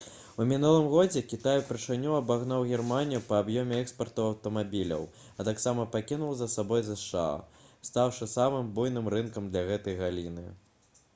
у мінулым годзе кітай упершыню абагнаў германію па аб'ёме экспарту аўтамабіляў а таксама пакінуў за сабой зша стаўшы самым буйным рынкам для гэтай галіны